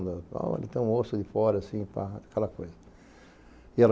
Olha, tem um moço ali fora, assim, aquela coisa.